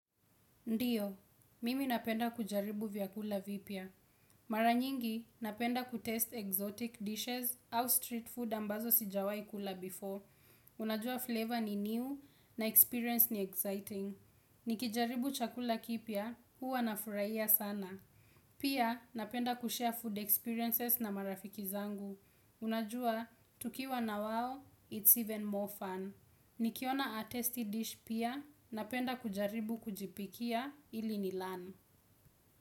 Ndio, mimi napenda kujaribu vyakula vipya. Mara nyingi, napenda kujaribu vyakula vya kigeni au vyakula vya mitaani ambavyo sijawai kula hapo awali. Unajua ladha ni mpya na kujaribu ni huchangamsha. Nikijaribu chakula kipya, huwa nafurahia sana. Pia, napenda kushare food experiences na marafiki zangu. Unajua, tukiwa na wao, it's even more fun. Nikiona a tasty dish pia napenda kujaribu kujipikia ili nilearn.